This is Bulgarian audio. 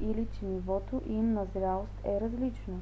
или че нивото им на зрялост е различно